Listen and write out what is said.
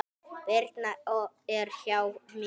Birna er hjá mér.